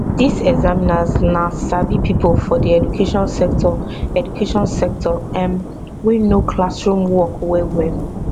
dis examiners na sabi pipo for di education sector education sector um wey know classroom work wellwell